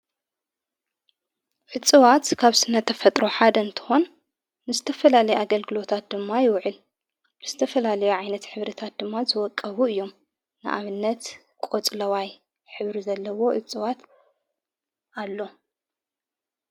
ዕጽዋት ካብ ስነተፈጥሮ ሓደ እንትኮን ምስተፈላለዩ ኣገልግሎታት ድማ ይውዕል ምስተፈላለዮ ዓይነት ኅብርታት ድማ ዘወቀቡ እዮም ንኣምነት ቖጽለዋይ ኅብሪ ዘለዎ ዕፅዋት ኣሎ።